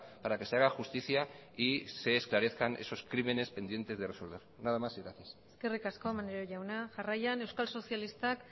para que se haga justicia y se esclarezcan esos crímenes pendientes de resolver nada más y gracias eskerrik asko maneiro jauna jarraian euskal sozialistak